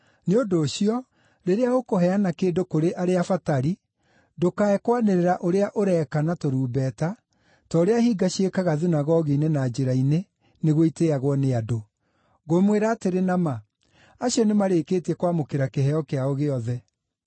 “Nĩ ũndũ ũcio, rĩrĩa ũkũheana kĩndũ kũrĩ arĩa abatari, ndũkae kwanĩrĩra ũrĩa ũreka na tũrumbeta, ta ũrĩa hinga ciĩkaga thunagogi-inĩ na njĩra-inĩ, nĩguo itĩĩagwo nĩ andũ. Ngũmwĩra atĩrĩ na ma, acio nĩmarĩkĩtie kwamũkĩra kĩheo kĩao gĩothe.